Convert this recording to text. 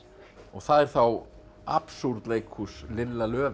og það er þá Lilla